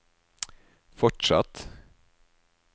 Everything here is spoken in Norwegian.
fortsatt